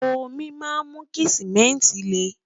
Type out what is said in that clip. omi má mú kí simẹnti le